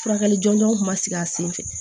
Furakɛli jɔnjɔnw kun ma sigi a sen fɛ